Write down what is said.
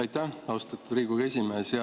Aitäh, austatud Riigikogu esimees!